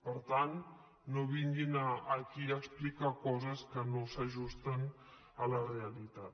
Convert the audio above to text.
per tant no vinguin aquí a explicar coses que no s’ajusten a la realitat